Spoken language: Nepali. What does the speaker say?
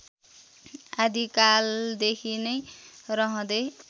आदिकालदेखि नै रहँदै